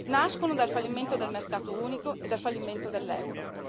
Nascono dal fallimento del mercato unico e dal fallimento dell'euro.